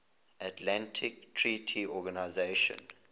atlantic treaty organisation